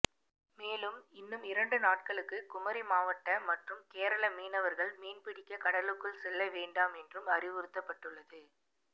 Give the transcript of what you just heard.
மேலும் இன்னும் இரண்டு நாட்களுக்கு குமரி மாவட்ட மற்றும் கேரள மீனவர்கள் மீன்பிடிக்க கடலுக்குள் செல்ல வேண்டாம் என்றும் அறிவுறுத்தப்பட்டுள்ளது